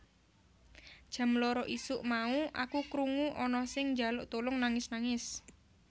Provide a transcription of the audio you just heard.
Jam loro isuk mau aku kurngu ana sing njaluk tulung nangis nangis